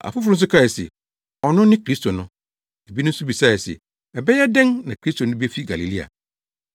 Afoforo nso kae se, “Ɔno ne Kristo no!” Ebinom nso bisae se, “Ɛbɛyɛ dɛn na Kristo no befi Galilea?